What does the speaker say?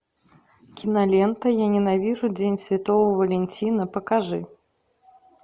кинолента я ненавижу день святого валентина покажи